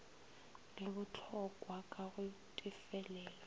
le botlhokwa ka go tefelelo